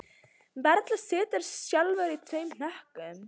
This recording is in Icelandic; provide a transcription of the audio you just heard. Varla siturðu sjálfur í tveim hnökkum